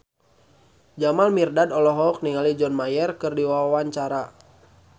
Jamal Mirdad olohok ningali John Mayer keur diwawancara